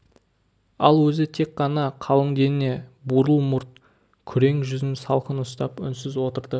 ал өзі тек қана қалың дене бурыл мұрт күрең жүзін салқын ұстап үнсіз отырды